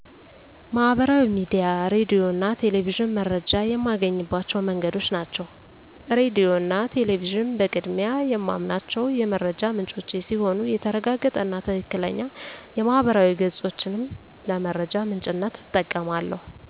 ማህበራዊ ሚዲያ፣ ሬዲዮ እና ቴሌቪዥን መረጃ የማገኝባቸው መንገዶች ናቸው። ሬዲዮ እና ቴሌቪዥን በቅድሚያ የማምናቸው የመረጃ ምንጮቼ ሲሆኑ የተረጋገጠ እና ትክክለኛ የማህበራዊ ገፆችንም ለመረጃ ምንጭነት እጠቀማለሁ።